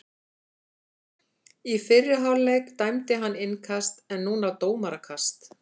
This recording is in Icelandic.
Í fyrri hálfleik dæmdi hann innkast en núna dómarakast.